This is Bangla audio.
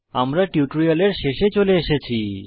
আমরা টিউটোরিয়ালের শেষে চলে এসেছি